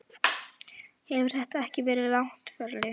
Hefur þetta ekki verið langt ferli?